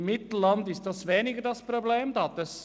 Im Mittelland besteht dieses Problem nicht.